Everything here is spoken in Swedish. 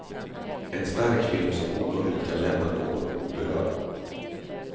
En stark film som omöjligt kan lämna någon oberörd.